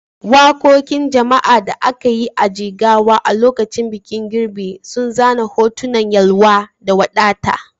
Wakokin jama'a da aka yi a Jigawa a lokacin bikin girbi sun zana hotunan yalwa da wadata.